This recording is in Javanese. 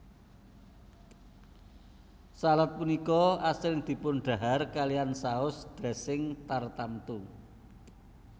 Salad punika asring dipundhahar kaliyan saus dressing tartamtu